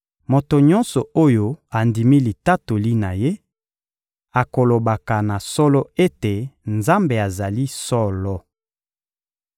Moto nyonso oyo andimi litatoli na Ye akolobaka na solo ete Nzambe azali solo.